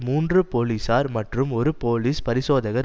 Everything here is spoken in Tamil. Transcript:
மூன்று பொலிஸார் மற்றும் ஒரு போலிஸ் பரிசோதகர்